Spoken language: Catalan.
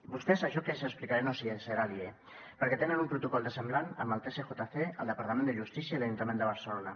vostès això que els explicaré no els serà aliè perquè tenen un protocol semblant amb el tsjc el departament de justícia i l’ajuntament de barcelona